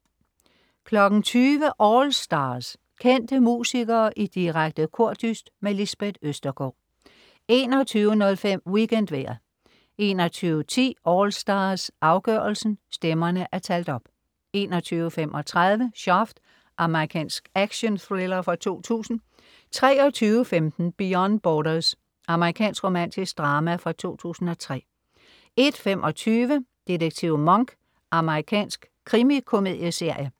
20.00 AllStars. Kendte musikere i direkte kordyst. Lisbeth Østergaard 21.05 WeekendVejret 21.10 AllStars afgørelsen. Stemmerne er talt op 21.35 Shaft. Amerikansk actionthriller fra 2000 23.15 Beyond Borders. Amerikansk romantisk drama fra 2003 01.25 Detektiv Monk. Amerikansk krimikomedieserie